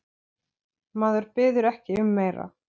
Maður biður ekki um meira.